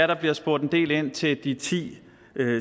der bliver spurgt en del ind til de ti